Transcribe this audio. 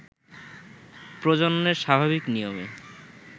প্রজননের স্বাভাবিক নিয়মে